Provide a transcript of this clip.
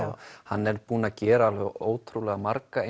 hann er búinn að gera ótrúlega marga